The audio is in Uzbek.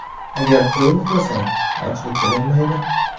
Agar to‘yib uxlasang, ochlik bilinmaydi.